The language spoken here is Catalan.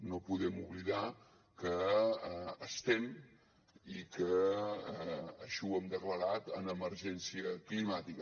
no podem oblidar que estem i que així ho hem declarat en emergència climàtica